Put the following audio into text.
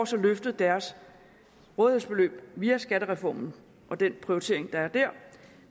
så løftet deres rådighedsbeløb via skattereformen og den prioritering der er der